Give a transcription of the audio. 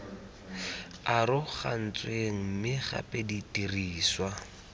arogantsweng mme gape di dirisiwa